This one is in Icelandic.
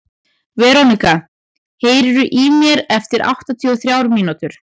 Veronika, heyrðu í mér eftir áttatíu og þrjár mínútur.